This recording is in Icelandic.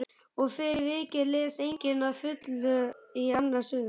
Og fyrir vikið les enginn að fullu í annars hug.